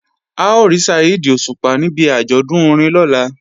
A ó rí Saheed Òṣùpá níbi àjọ̀dún orin lọ́la